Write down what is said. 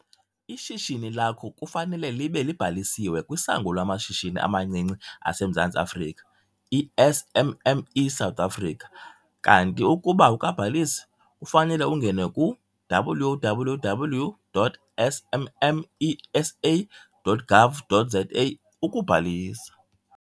Ishishini lakho kufanele libe libhalisiwe kwiSango lwamaShishini amaNcinci aseMzantsi Afrika, i-SMME South Africa. Kanti ukuba awukabhalisi, kufanele ungene ku - www.smmesa.gov.za ukubhalisa.